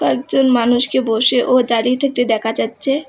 একজন মানুষকে বসে ও দাঁড়িয়ে থাকতে দেখা যাচ্ছে।